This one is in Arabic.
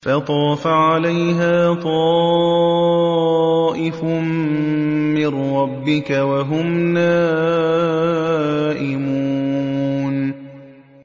فَطَافَ عَلَيْهَا طَائِفٌ مِّن رَّبِّكَ وَهُمْ نَائِمُونَ